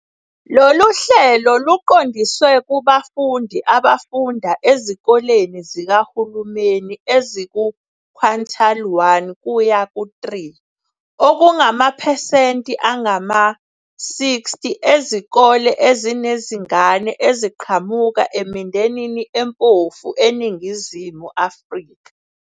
Lolu hlelo luqondiswe kubafundi abafunda ezikoleni zikahulumeni eziku-quintile 1-3, okungamaphesenti angama-60 ezikole ezinezingane eziqhamuka emindenini empofu eNingizimu Afrika.